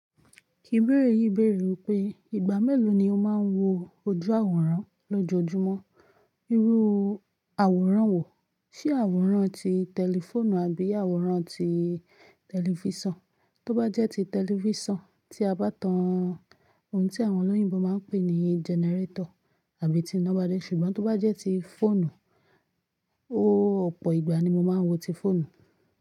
Ibeẹ́rè yìí bèèrè wípé ìgbà mélòó ni o máa ń wo ojú àwòrán lójoojúmọ́. Irú àwòrán wo, ṣé àwòrán ti tẹlifóònù àbí àwòrán ti tẹlifísàn? Tó bá jẹ́ ti tẹlifísàn tí a bá tan ohun tí àwọn olóyìnbo máa ń pè ní gẹnẹrétọ̀ àbí ti iná bá dé. Ṣùgbọ́n tó bá jẹ́ ti fóònù, oóó ọ̀pọ̀ ìgbà ni mo máa ń wo ti fóònù.